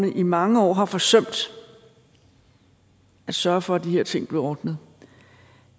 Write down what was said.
man i mange år har forsømt at sørge for at de her ting blev ordnet